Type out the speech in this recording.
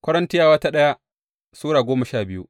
daya Korintiyawa Sura goma sha biyu